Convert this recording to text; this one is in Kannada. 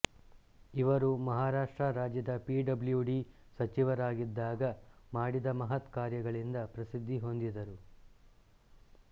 ಇವರು ಮಹಾರಾಷ್ಟ್ರ ರಾಜ್ಯದ ಪಿಡಬ್ಲುಡಿ ಸಚಿವರಾಗಿದ್ದಾಗ ಮಾಡಿದ ಮಹತ್ಕಾರ್ಯಗಳಿಂದ ಪ್ರಸಿದ್ಧಿ ಹೊಂದಿದರು